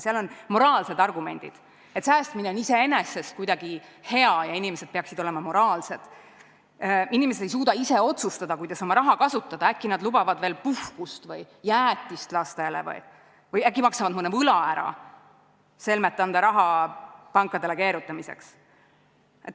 Seal on moraalsed argumendid, et säästmine on iseenesest kuidagi hea ja inimesed peaksid olema moraalsed, inimesed ei suuda ise otsustada, kuidas oma raha kasutada, äkki nad lubavad endale veel puhkust või jäätist lastele või äkki maksavad mõne võla ära selmet anda raha pankadele keerutamiseks.